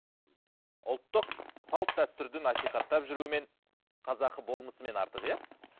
ұлттық салт дәстүрді насихаттап жүруімен қазақы болмысымен артық иә